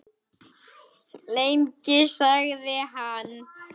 Lengi? sagði hann.